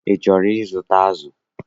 Ị chọrọ igote azụ?